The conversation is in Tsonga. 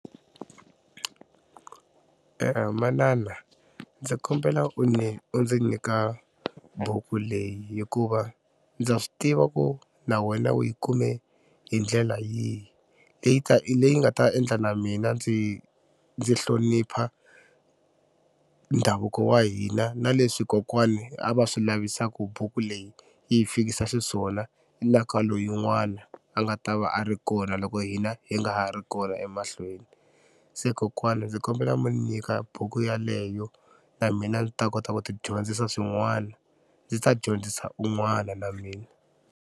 Manana ndzi kombela u ni u ndzi nyika buku leyi hikuva ndza swi tiva ku na wena u yi kume hi ndlela yihi leyi ta leyi nga ta endla na mina ndzi ndzi hlonipha ndhavuko wa hina na leswi kokwana a va swi lavisa ku buku leyi yi fikisa xiswona na ka loyin'wana a nga ta va a ri kona loko hina hi nga ha ri kona emahlweni. Se kokwana ndzi kombela mi nyika buku yaleyo na mina ndzi ta kota ku tidyondzisa swin'wana ndzi ta dyondzisa un'wana na mina.